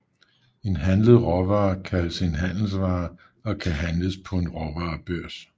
En handlet råvare kaldes en handelsvare og kan handles på en råvarebørs